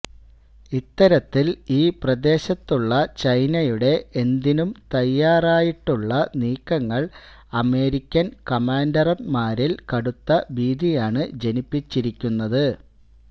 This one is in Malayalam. ഇത്തരത്തിൽ ഈ പ്രദേശത്തുള്ള ചൈനയുടെ എന്തിനും തയ്യാറായിട്ടുള്ള നീക്കങ്ങൾ അമേരിക്കൻ കമാൻഡർമാരിൽ കടുത്ത ഭീതിയാണ് ജനിപ്പിച്ചിരിക്കുന്നത്